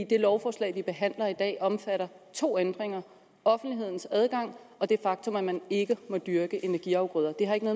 det lovforslag vi behandler i dag omfatter to ændringer offentlighedens adgang og det faktum at man ikke må dyrke energiafgrøder det har ikke